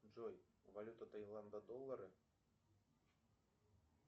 джой валюта тайланда доллары